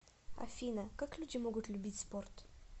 афина как люди могут любить спорт